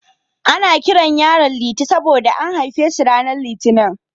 Ana kiran yaron Liti saboda an haife shi ranar Litinin.